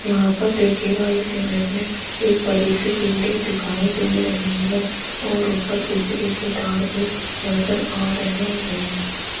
यहां पर देखिएगा इस इमेज में एक बड़ी सी बिल्डिंग दिखाई दे रही है और ऊपर बिजली के तार भी नजर आ रहे हैं।